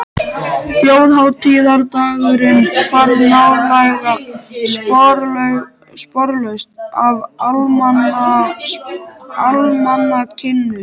Þjóðhátíðardagurinn hvarf nálega sporlaust af almanakinu.